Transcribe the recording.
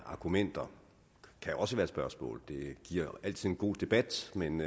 argumenter kan også være som spørgsmål det giver altid en god debat men